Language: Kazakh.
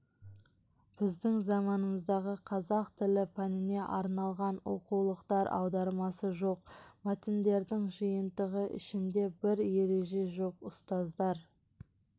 біздің заманымыздағы қазақ тілі пәніне арналған оқулықтар аудармасы жоқ мәтіндердің жиынтығы ішінде бір ереже жоқ ұстаздар